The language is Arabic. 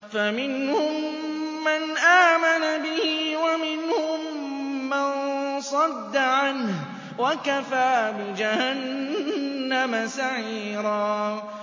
فَمِنْهُم مَّنْ آمَنَ بِهِ وَمِنْهُم مَّن صَدَّ عَنْهُ ۚ وَكَفَىٰ بِجَهَنَّمَ سَعِيرًا